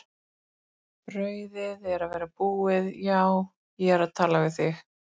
Brauðið er að verða búið, já ég er að tala við þig!